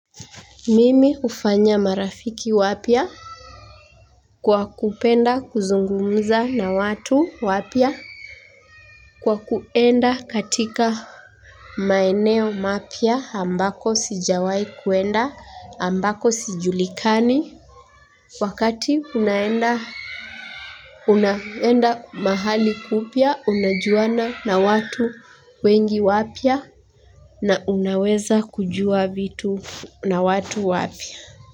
Mimi hufanya marafiki wapya? Kwa kupenda kuzungumza na watu wapya? Kwa kuenda katika maeneo mapya ambako sijawai kuenda ambako sijulikani. Wakati unaenda mahali upya unajuana na watu wengi wapya na unaweza kujua vitu na watu wapya.